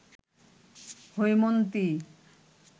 Haimanti